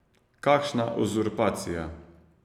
Kakšna uzurpacija!